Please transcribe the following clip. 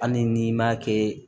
Hali n'i m'a kɛ